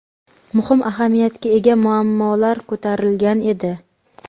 muhim ahamiyatga ega muammolar ko‘tarilgan edi.